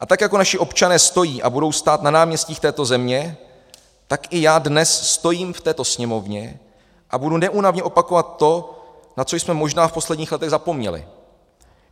A tak jako naši občané stojí a budou stát na náměstích této země, tak i já dnes stojím v této Sněmovně a budu neúnavně opakovat to, na co jsme možná v posledních letech zapomněli.